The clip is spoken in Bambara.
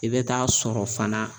I bɛ taa sɔrɔ fana.